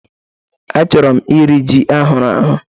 Achọrọ m iri ji ahụrụ ahụ̀